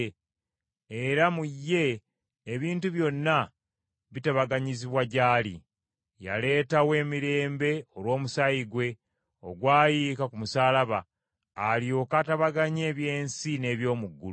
era mu ye ebintu byonna bitabaganyizibwa gy’ali. Yaleetawo emirembe olw’omusaayi gwe, ogwayika ku musaalaba, alyoke atabaganye eby’ensi n’eby’omu ggulu.